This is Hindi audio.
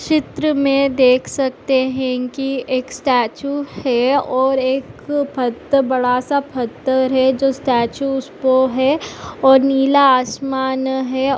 चित्र मे देख सकते है की एक स्टेचू है और एक फ़त्त बदसा फत्थर है जो स्टेचू स्पो है और नीला आसमान है।